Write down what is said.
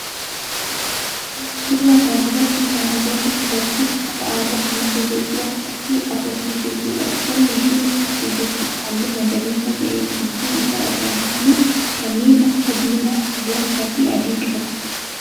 Suuraa kana irratti kana agarru dubartii uffata aadaa ummata Itiyoophiyaa uffattee dhaabbattee jirtudha. Uffanni isheen uffattee jirtu halluu magariisa ta'ee gidduu isaa irraa halluu kanneen akka diimaa, gurraacha fi adii qaba.